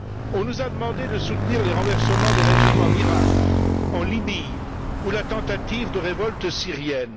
On nous a demandé de soutenir les renversements de régime en Iraq, en Libye ou la tentative de révolte syrienne.